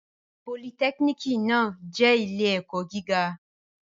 Politẹ́kínìkì náà jẹ́ ilé-ẹ̀kọ́ gíga.